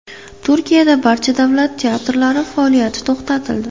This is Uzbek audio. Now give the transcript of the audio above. Turkiyada barcha davlat teatrlari faoliyati to‘xtatildi.